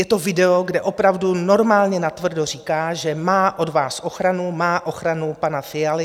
Je to video, kde opravdu normálně natvrdo říká, že má od vás ochranu, má ochranu pana Fialy.